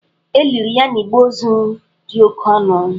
E liri ya n'igbe ozu dị oke ọnụ.